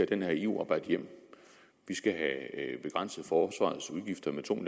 den her eu rabat hjem vi skal have begrænset forsvarets udgifter med to